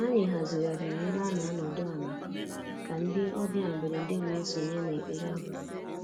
Anyị hazigharịrị ebe a n'anọdụ ala ka ndị ọbịa mberede wee sonye na ekpere abalị.